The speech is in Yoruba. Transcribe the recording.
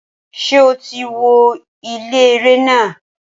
Ṣé o ti wo ilé eré náà?